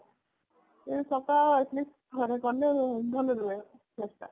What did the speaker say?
ତ ସପ୍ତାହରେ at least ଥରେ କଲେ ଭଲ ରୁହେ face ଟା